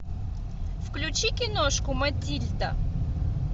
включи киношку матильда